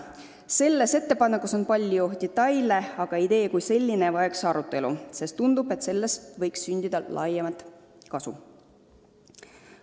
Selles ettepanekus on palju detaile, aga idee kui selline vajaks arutamist, sest tundub, et sellest võiks sündida laiemat kasu.